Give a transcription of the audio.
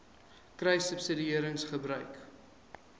kruissubsidiëringgebruik